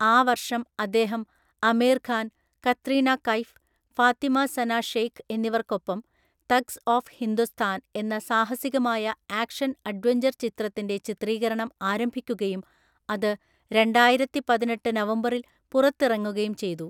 ആ വർഷം അദ്ദേഹം ആമിർ ഖാൻ, കത്രീന കൈഫ്, ഫാത്തിമ സന ഷെയ്ഖ് എന്നിവർക്കൊപ്പം തഗ്സ് ഓഫ് ഹിന്ദോസ്ഥാൻ എന്ന സാഹസികമായ ആക്ഷൻ അഡ്വഞ്ചർ ചിത്രത്തിൻ്റെ ചിത്രീകരണം ആരംഭിക്കുകയും അത് രണ്ടായിരത്തിപതിനെട്ടു നവംബറിൽ പുറത്തിറങ്ങുകയും ചെയ്തു.